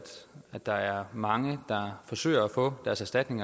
at der er mange der forsøger at få erstatning